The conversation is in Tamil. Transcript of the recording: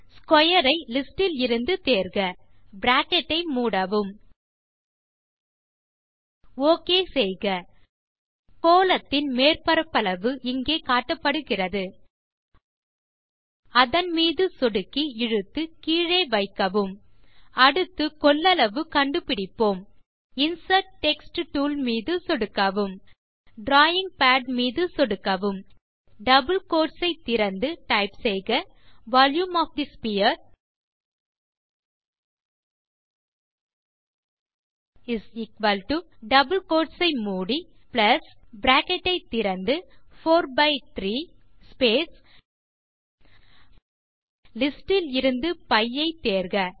ஸ்க்வேர் ஐ லிஸ்டிலிருந்து தேர்க பிராக்கெட் ஐ மூடவும் ஓகே செய்க கோளத்தின் மேற்பரப்பளவு இங்கே காட்டப்படுகிறது அதன் மீது சொடுக்கி இழுத்து கீழே வைக்கவும் அடுத்து கொள்ளளவு கண்டு பிடிப்போம் இன்சர்ட் டெக்ஸ்ட் டூல் மீது சொடுக்கவும் டிராவிங் பாட் மீது சொடுக்கவும் டெக்ஸ்ட் பாக்ஸ் திறக்கிறது டபிள் கோட் திறந்து டைப் செய்க volume of the sphere double quote மூடி பிளஸ் பிராக்கெட் திறந்து 43 ஸ்பேஸ் லிஸ்டிலிருந்து π ஐ தேர்க